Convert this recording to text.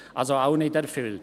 Also auch nicht erfüllt.